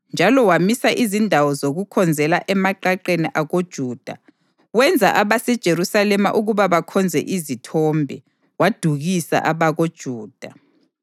Njalo wamisa izindawo zokukhonzela emaqaqeni akoJuda, wenza abaseJerusalema ukuba bakhonze izithombe, wadukisa abakoJuda.